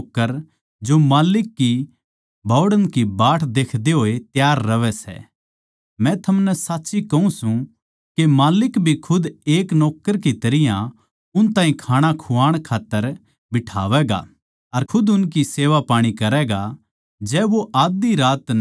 धन्य सै वे नौक्कर जो माल्लिक के बोहड़ण की बाट देखते होए तैयार रहवै सै मै थमनै साच्ची कहूँ सूं के माल्लिक भी खुद एक नौक्कर की तरियां उन ताहीं खाणा खुआण खात्तर बिठावैगा अर खुद उनकी सेवापाणी करैगा